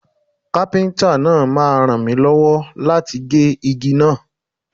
Kápẹ́ńtà náà máa ràn mi lọ́wọ́ láti gé igi náà